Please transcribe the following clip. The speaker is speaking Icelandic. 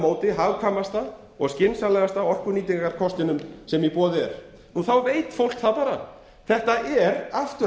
móti hagkvæmasta og skynsamlegasta orkunýtingarkostinum sem er í boði þá veit fólk það bara þetta er afturhaldsstjórn